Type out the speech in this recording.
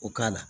O k'a la